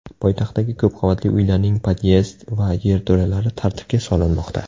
Poytaxtdagi ko‘p qavatli uylarning podyezd va yerto‘lalari tartibga solinmoqda.